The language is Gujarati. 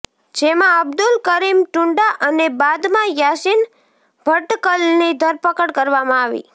જેમાં અબ્દુલ કરીમ ટુંડા અને બાદમાં યાસીન ભટકલની ધરપકડ કરવામા આવી